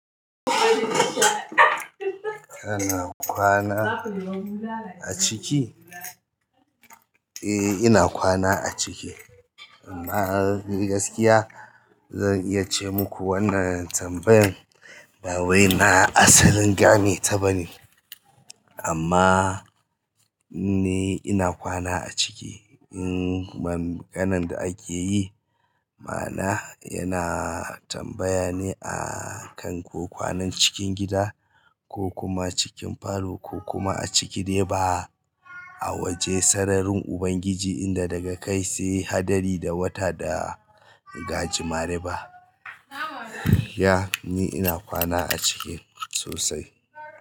Kana kwana a ciki? Eh ina kwana a ciki. Amma ni gaskiya zan iya ce muku wannan tambayan nlbawai na asalin gane ta bane. Amma ni ina kwana a ciki. In ba maganan da ake yi ma'ana yana tambaya ne a kan ko kwanan cikin gida ko kuma cikin falo ko kuma a ciki dai ba a waje sararin Ubangiji inda daga kai sai haɗari da wata da gajimare ba. Ya ni ina kwana a ciki sosai.